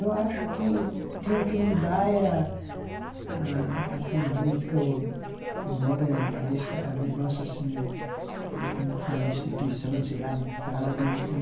Eu acho que tinha que mudar era a a política, o né, a negócio assim, eh como que fala a instituição né, sei lá né que fala, né? Assim